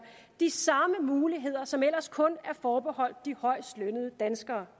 de samme muligheder som ellers kun er forbeholdt de højestlønnede danskere